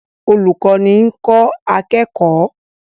Olùkọ́ni ń kọ́ akẹ́kọ̀ọ́